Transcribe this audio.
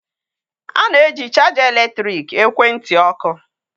A na-eji chaja eletrik ekwentị ọkụ.